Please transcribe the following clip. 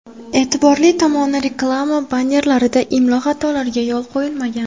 E’tiborli tomoni, reklama bannerlarida imlo xatolariga yo‘l qo‘yilmagan.